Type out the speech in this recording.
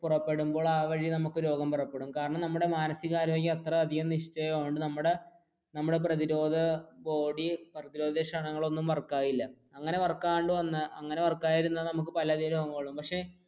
പുറപ്പെടുമ്പോൾ ആ വഴി നമുക്ക് രോഗം പുറപ്പെടും കാരണം നമ്മുടെ മാനസിക ആരോഗ്യം അത്രയധികം അങ്ങനെ വർക്ക് ആവാണ്ട് വന്നാൽ